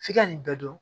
F'i ka nin bɛɛ dɔn